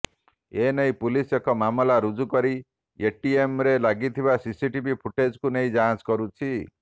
ଏନେଇ ପୁଲିସ୍ ଏକ ମାମଲା ରୁଜୁ କରି ଏଟିଏମରେ ଲାଗିଥିବା ସିସିଟିଭି ଫୁଟେଜକୁ ନେଇ ଯାଞ୍ଚ କରୁଛି